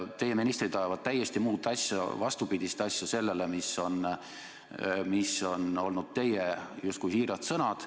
Teie ministrid ajavad täiesti muud asja, vastupidist asja sellele, mis on olnud teie justkui siirad sõnad.